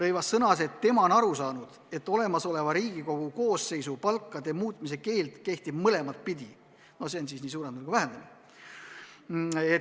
Ta sõnas, et tema on aru saanud, et olemasoleva Riigikogu koosseisu palkade muutmise keeld kehtib mõlemat pidi, nii suurendamise kui ka vähendamise kohta.